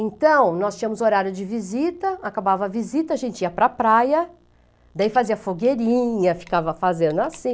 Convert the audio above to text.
Então, nós tínhamos horário de visita, acabava a visita, a gente ia para a praia, daí fazia fogueirinha, ficava fazendo assim.